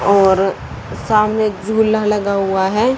और सामने एक झूला लगा हुआ है।